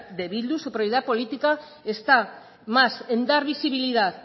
de bildu su prioridad política está más en dar visibilidad